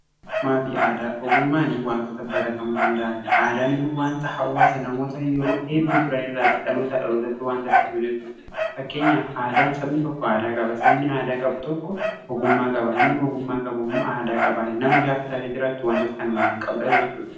Ogummaa fi aadaa, ogummaani wantoota baratamuu danda'aniidha. Aadaan immoo wanta hawwaasa namoota yeroo hedduu turan irraatti dhalootaa dhalootatti waanta dharbu jechuudha. Fakkeenyaaf sabni tokko aadaa qaba sabni aadaa qabu tokko ogummaa qaba namni ogummaa qabu immoo aadaa qabaan nama gaafa taatee jiraattu wantoota kana lamaan qabdaa jechuudha.